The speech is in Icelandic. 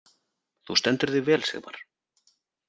Þú stendur þig vel, Sigmar!